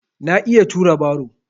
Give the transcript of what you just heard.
Na iya tura baro.